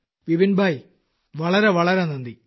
വിപിൻ ഭായ് വളരെ വളരെ നന്ദി